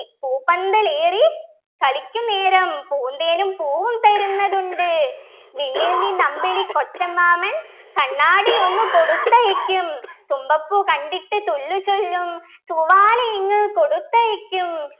പൂപ്പന്തലേറിക്കളിക്കുന്നേരം പൂന്തേനും പൂവും തരുന്നതുണ്ട് വിണ്ണിൽ നിന്നമ്പിളിക്കൊച്ചമ്മാമൻ കണ്ണാടിയൊന്നു കൊടുത്തയയ്ക്കും തുമ്പപ്പൂ കണ്ടിട്ടു തുല്ലുചൊല്ലും തൂവാലയിങ്ങു കൊടുത്തയയ്ക്കും